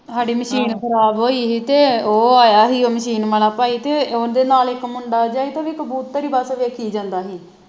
ਹਾਡੇ ਮਸ਼ੀਨ ਖਰਾਬ ਹੋਈ ਹੀ ਤੇ ਉਹ ਆਇਆ ਹੀ ਉਹ ਮਸ਼ੀਨ ਵਾਲਾ ਭਾਈ ਤੇ ਓਦੇ ਨਾਲ ਇਕ ਮੁੰਡਾ ਜਾ ਹੀ ਤੇ ਉਹ ਵੀ ਕਬੂਤਰ ਹੀ ਬਸ ਦੇਖੀ ਜਾਂਦਾ ਹੀ